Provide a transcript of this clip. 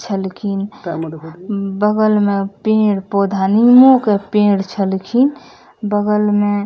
छल खिन् बगल में पेड़-पौधा निमो के पेड़ छल खिन् | बगल में --